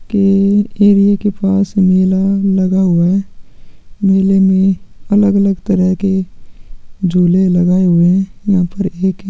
की एरिया के पास में मेला लगा हुआ है मेले में अगल-अगल तरह के झूले लगाए हुए है यहाँ पर एक--